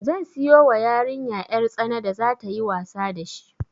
Zan siyo wa yariya 'yar tsana da za tayi wasa da shi